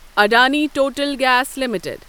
Adani total gas limited